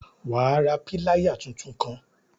Wà ra piláyà títún kàn!